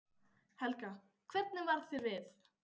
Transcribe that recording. Helga: Hvernig varð þér við?